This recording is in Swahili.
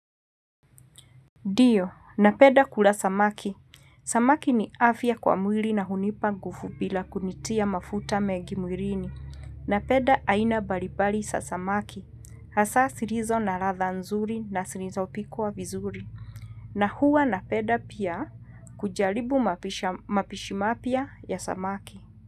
Ndio, napenda kula samaki. Samaki ni afya kwa mwili na hunipa nguvu bila kunitia mafuta mengi mwilini. Napenda aina mbalimbali za samaki. Hasa zilizo na ladha nzuri na zilizo pikwa vizuri. Na huwa na penda pia kujaribu mapisha mapishimapya ya samaki.